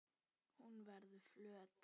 Hún verður flöt.